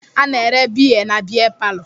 A na-ere biya na-biya parlo.